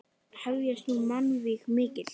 Hefjast nú mannvíg mikil.